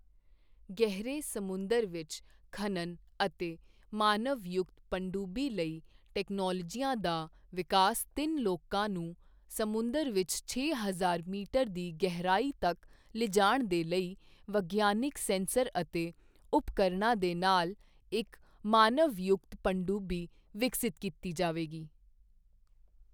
ਗਹਿਰੇ ਸਮੁੰਦਰ ਵਿੱਚ ਖਨਨ ਅਤੇ ਮਾਨਵਯੁਕਤ ਪਣਡੁੱਬੀ ਲਈ ਟੈਕਨੋਲੋਜੀਆਂ ਦਾ ਵਿਕਾਸ ਤਿੰਨ ਲੋਕਾਂ ਨੂੰ ਸਮੁੰਦਰ ਵਿੱਚ ਛੇ ਹਜ਼ਾਰ ਮੀਟਰ ਦੀ ਗਹਿਰਾਈ ਤੱਕ ਲਿਜਾਣ ਦੇ ਲਈ ਵਿਗਿਆਨਕ ਸੈਂਸਰ ਅਤੇ ਉਪਕਰਣਾਂ ਦੇ ਨਾਲ ਇੱਕ ਮਾਨਵਯੁਕਤ ਪਣਡੁੱਬੀ ਵਿਕਸਿਤ ਕੀਤੀ ਜਾਵੇਗੀ।